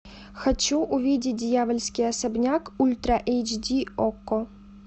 хочу увидеть дьявольский особняк ультра эйч ди окко